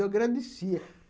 Eu agradecia.